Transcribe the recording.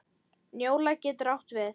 Njóla getur átt við